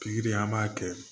Pikiri an b'a kɛ